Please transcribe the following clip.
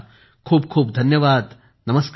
खूप खूप धन्यवाद नमस्कार